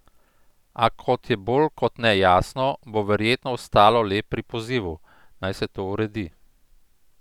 A, kot je bolj kot ne jasno, bo verjetno ostalo le pri pozivu, naj se to uredi.